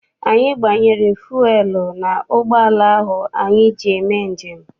Anyi gbanyere fuelu n'ụgbọala ahụ anyị ji eme njem.